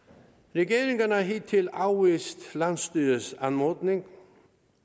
regeringen har hidtil afvist landsstyrets anmodning